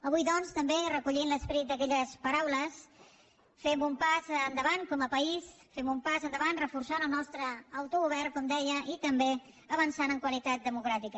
avui doncs també recollint l’esperit d’aquelles paraules fem un pas endavant com a país fem un pas endavant reforçant el nostre autogovern com deia i també avançant en qualitat democràtica